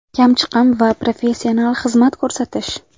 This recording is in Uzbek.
Kamchiqim va professional xizmat ko‘rsatish!”.